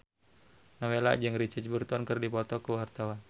Nowela jeung Richard Burton keur dipoto ku wartawan